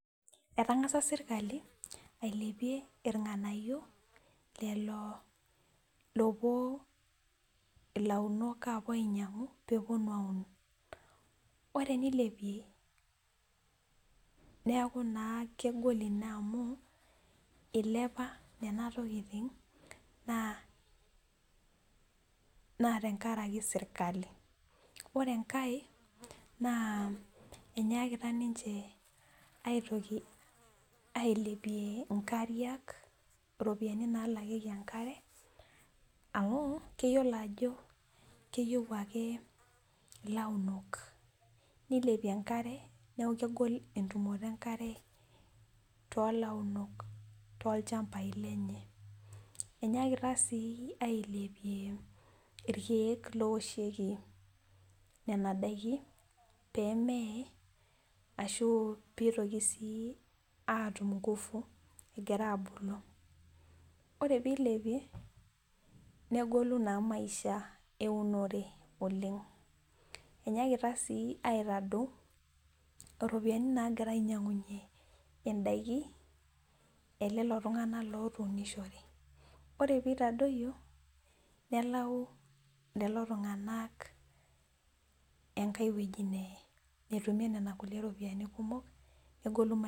Etangasa sirkali ailepie irnganayio lelo oopuo launok ainyangu ,ore tenilepie neeku naa kego ina amu ,eilepu nena tokiting naa tenkaraki sirkali .ore enkae naa enyaakita ninche ailepie nkariak ropiyiani naalakieki enkare amu keyiolo ake ajo keyieu ilaunok. neilepie enkare ,neeku kegol entumoto enkare toolaturok tolchampai lenye .enyaakita sii ailepie irkeek lowoshieki nena daiki pee mee ashu pee eitoki naa atum ngufuegira abulu. ore pee eilepie negolu naa maisha eunore oleng, enyaakita sii aitadou ropiyiani nagira ainyangunyie ndaiki elelo tunganak lootunishote, ore pee eitadoyio nalau lelo tunganak Enkai weji enetumie nena ropiyiani kumok, negolu maisha.